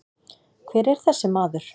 Hver er þessi maður?